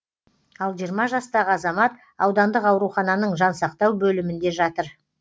ал жиырма жастағы азамат аудандық аурухананың жансақтау бөлімінде жатыр